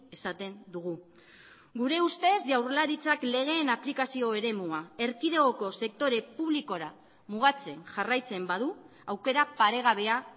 esaten dugu gure ustez jaurlaritzak legeen aplikazio eremua erkidegoko sektore publikora mugatzen jarraitzen badu aukera paregabea